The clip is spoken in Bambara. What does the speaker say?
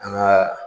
An ka